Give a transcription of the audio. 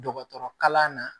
Dɔgɔtɔrɔ kalan na